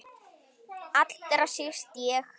Allra síst ég!